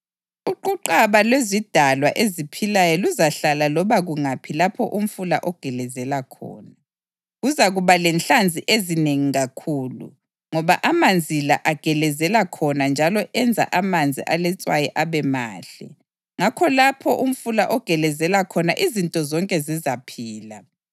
Uquqaba lwezidalwa eziphilayo luzahlala loba kungaphi lapho umfula ogelezela khona. Kuzakuba lenhlanzi ezinengi kakhulu, ngoba amanzi la agelezela khona njalo enza amanzi aletswayi abe mahle; ngakho lapho umfula ogelezela khona izinto zonke zizaphila.